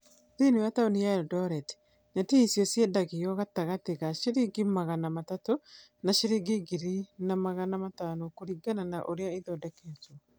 Thĩinĩ wa taũni ya Erindoreti, neti icio ciendagio gatagatĩ ka Shmagana matatũ na cĩrĩngi ngiri na magana matano kũringana na ũrĩa ithondeketwo.